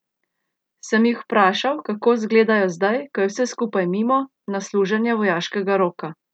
Sem jih vprašal, kako gledajo zdaj, ko je vse skupaj mimo, na služenje vojaškega roka?